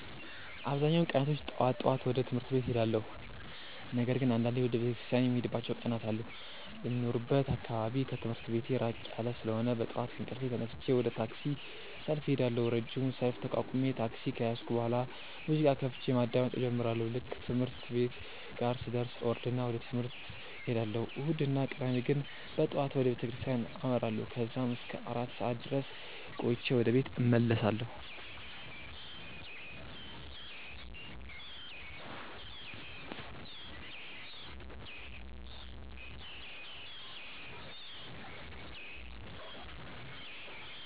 አብዛኛውን ቀናቶች ጠዋት ጠዋት ወደ ትምህርት ቤት እሄዳለሁ። ነገር ግን አንዳንዴ ወደ ቤተክርስቲያን የምሄድባቸው ቀናት አሉ። የሚኖርበት አካባቢ ከትምህርት ቤቴ ራቅ ያለ ስለሆነ በጠዋት ከእንቅልፌ ተነስቼ ወደ ታክሲ ሰልፍ እሄዳለሁ። ረጅሙን ሰልፍ ተቋቁሜ ታክሲ ከያዝኩ በኋላ ሙዚቃ ከፍቼ ማዳመጥ እጀምራለሁ። ልክ ትምህርት ቤቴ ጋር ስደርስ እወርድና ወደ ትምህርት እሄዳለሁ። እሁድ እና ቅዳሜ ግን በጠዋት ወደ ቤተክርስቲያን አመራለሁ። ከዛም እስከ አራት ሰዓት ድረስ ቆይቼ ወደ ቤት እመለሳለሁ።